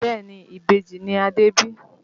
Bẹ́ẹ̀ni ìbejì ni Adé bí